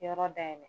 Yɔrɔ dayɛlɛ